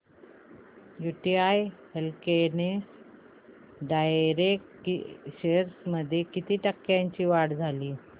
UTI healthcare direct shares मध्ये किती टक्क्यांची वाढ झाली